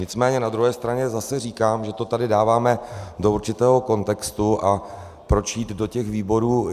Nicméně na druhé straně zase říkám, že to tady dáváme do určitého kontextu a proč jít do těch výborů.